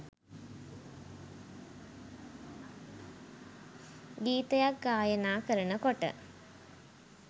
ගීතයක් ගායනා කරනකොට